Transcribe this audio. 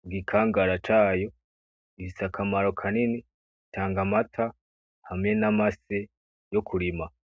mugikangara cayo gifise akamaro kanini, itanga amata hamwe n’amase yo kurima.